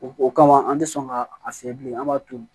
O o kama an tɛ sɔn ka a fiyɛ bilen an b'a to